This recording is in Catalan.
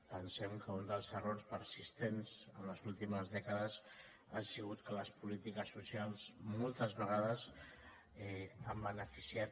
pensem que un dels errors persistents en les últimes dècades ha sigut que les polítiques socials moltes vegades han beneficiat